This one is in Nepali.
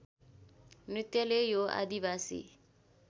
नृत्यले यो आदिवासी